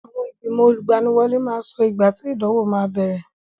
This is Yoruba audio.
Àwọn ìgbìnmọ̀ olùgbaniwọlé máa sọ ìgbà tí ìdánwò máa bẹ̀rẹ̀.